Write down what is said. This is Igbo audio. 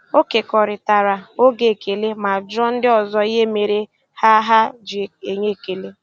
Ọ kekọrịtara oge ekele ma jụọ ndị ọzọ ihe mere ha ha ji enye ekele.